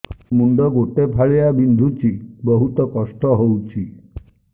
ମୁଣ୍ଡ ଗୋଟେ ଫାଳିଆ ବିନ୍ଧୁଚି ବହୁତ କଷ୍ଟ ହଉଚି